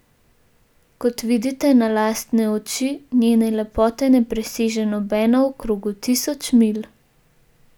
Kot vidite na lastne oči, njene lepote ne preseže nobena v krogu tisoč milj.